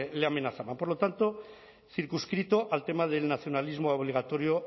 le amenazaban por lo tanto circunscrito al tema del nacionalismo obligatorio